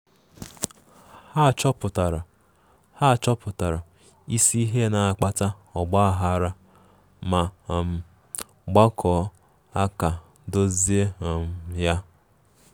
Ha chọpụtara Ha chọpụtara isi ihe na-akpata ọgba aghara ma um gbakọọ aka dozie um ya.